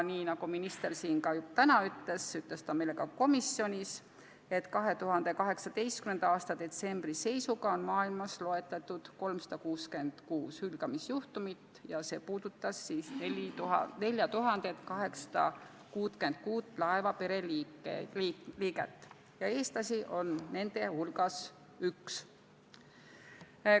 Nagu minister siin täna ütles, nii ütles ta meile ka komisjonis, et 2018. aasta detsembri seisuga oli maailmas loetletud 366 hülgamisjuhtumit, see puudutas 4866 laevapere liiget ja eestlasi oli nende hulgas üks.